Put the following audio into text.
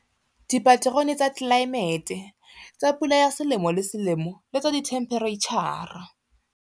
Dipaterone tsa tlelaemete, tsa pula ya selemo le selemo le tsa dithemphereitjhara.